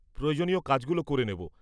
-প্রয়োজনীয় কাজগুলো করে নেব।